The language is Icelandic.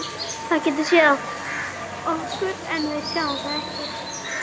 Það getur séð okkur en við sjáum það ekki.